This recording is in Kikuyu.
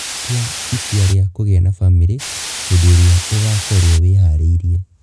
Tua itua rĩa kũgĩa na bamĩrĩ hĩndĩ ĩrĩa ũgaakorũo wĩhaarĩirie.